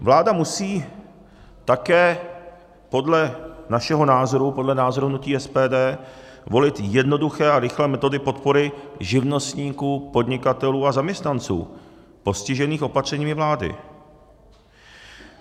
Vláda musí také podle našeho názoru, podle názoru hnutí SPD, volit jednoduché a rychlé metody podpory živnostníků, podnikatelů a zaměstnanců postižených opatřeními vlády.